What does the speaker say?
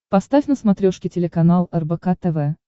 поставь на смотрешке телеканал рбк тв